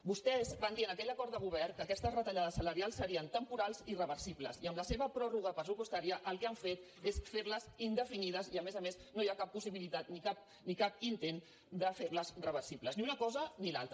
vostès van dir en aquell acord de govern que aquestes retallades salarials serien temporals i reversibles i amb la seva pròrroga pressupostària el que han fet és fer les indefinides i a més a més no hi ha cap possibilitat ni cap intent de fer les reversibles ni una cosa ni l’altra